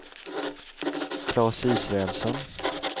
Claes Israelsson